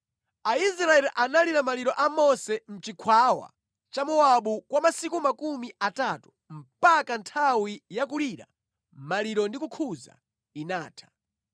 Aisraeli analira maliro a Mose mʼchikhwawa cha Mowabu kwa masiku makumi atatu mpaka nthawi ya kulira maliro ndi kukhuza inatha.